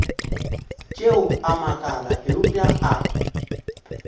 tšeo a makala eupša a